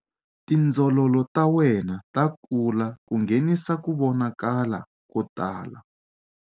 Tindzololo ta wena ta kula ku nghenisa ku vonakala ko tala.